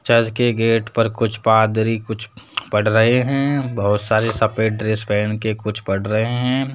Church के gate पर कुछ पादरी कुछ पढ़ रहे है बहुत सारे सफेद ड्रेस पहन के कुछ पढ़ रहे है।